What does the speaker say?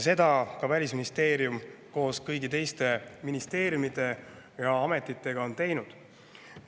Seda ka Välisministeerium koos kõigi teiste ministeeriumide ja ametitega on teinud.